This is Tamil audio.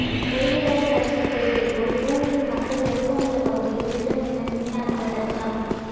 செயலிழந்த ரஷ்ய செயற்கைக்கோள் பூமியின் மக்கள் நெருக்கமுள்ள பகுதியில் விழும் என விஞ்ஞானிகள் அச்சம்